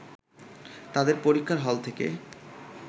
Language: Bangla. তাদের পরীক্ষার হল থেকে